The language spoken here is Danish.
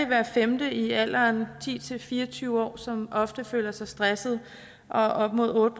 hver femte i alderen ti til fire og tyve år som ofte føler sig stresset og op mod otte